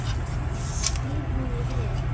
Hvíl nú í friði.